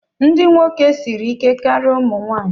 Ndị nwoke siri ike karịa ụmụ nwanyị.